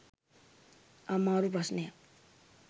අමාරු ප්‍රශ්නයක්.